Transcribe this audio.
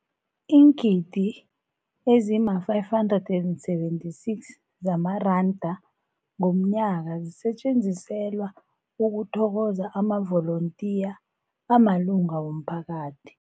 Iingidi ezima-576 zamaranda ngomnyaka zisetjenziselwa ukuthokoza amavolontiya amalunga womphakathi.